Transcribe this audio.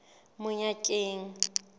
monyakeng